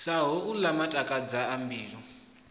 sa holwu matakadza a mbilu